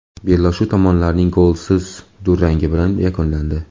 Bellashuv tomonlarning golsiz durangi bilan yakunlandi.